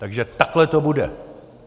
Takže takhle to bude.